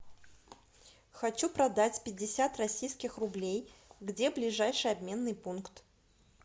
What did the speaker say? хочу продать пятьдесят российских рублей где ближайший обменный пункт